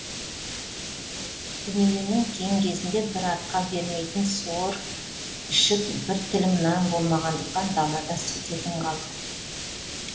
дүниенің кең кезінде бір атқа бермейтін суыр ішік бір тілім нан болмағандықтан далада сутегін қалды